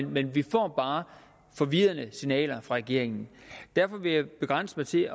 men vi får bare forvirrende signaler fra regeringen derfor vil jeg begrænse mig til